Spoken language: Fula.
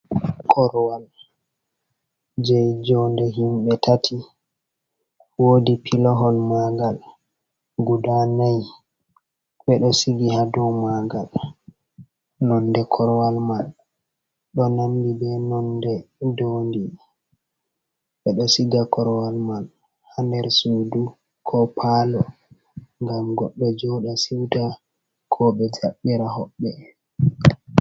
Korwal, je jonde himɓe tati, wodi pilahol magal guda nay ɓeɗo sigi ha do magal nonde korwal man ɗo namdi be nonde dondi, ɓeɗo siga korwal man ha nder sudu ko palo, ngam goɗɗo joɗa siuta koɓe jaɓɓira hoɓɓe.